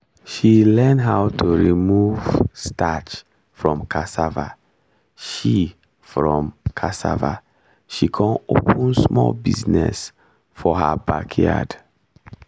she learn how to remove starch from cassava she from cassava she con open small business for her backyard